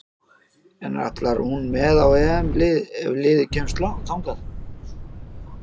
En ætlar hún með á EM ef liðið kemst þangað?